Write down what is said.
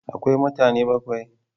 Akwai mutane bakwai?